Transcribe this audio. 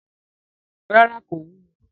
Ràrá, kò wúwo.